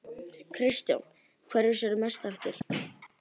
Kristján: Hverju sérðu mest eftir?